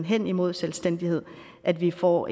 hen imod selvstændighed at vi får